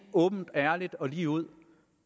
åbent ærligt og ligeud